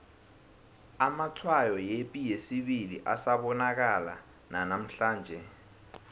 amatshwayo yepi yesibili asabonakala nanamhlanje